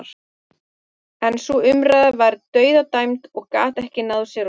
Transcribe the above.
En sú umræða var dauðadæmd og gat ekki náð sér á strik.